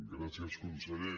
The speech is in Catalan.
gràcies conseller